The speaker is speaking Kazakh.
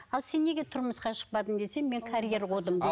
ал сен неге тұрмысқа шықпадың десе мен карьер қудым